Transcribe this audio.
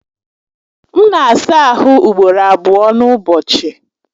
M na-asaa ahụ ugboro abụọ n'ụbọchị.